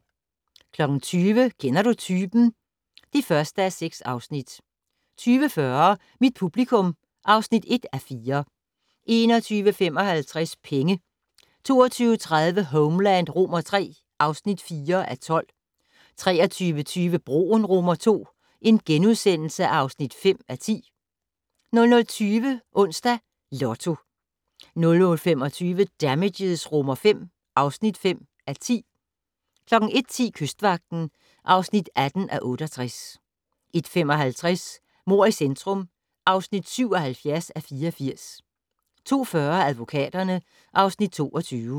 20:00: Kender du typen? (1:6) 20:40: Mit publikum (1:4) 21:55: Penge 22:30: Homeland III (4:12) 23:20: Broen II (5:10)* 00:20: Onsdags Lotto 00:25: Damages V (5:10) 01:10: Kystvagten (18:68) 01:55: Mord i centrum (77:84) 02:40: Advokaterne (Afs. 22)